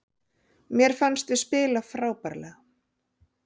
Mér fannst við spila frábærlega